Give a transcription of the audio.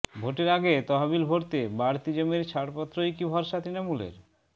ভোটের আগে তহবিল ভরতে বাড়তি জমির ছাড়পত্রই কি ভরসা তৃণমূলের